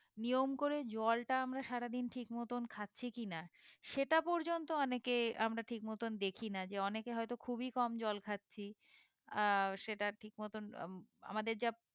নিয়ম করে জলটা আমরা সারাদিন ঠিক মতন খাচ্ছি কি না সেটা পর্যন্ত অনেকে আমরা ঠিক মতন দেখি না যে অনেকে হয়ে তো খুবই কম জল খাচ্ছি আহ সেটা ঠিক মতন আম আমাদের যা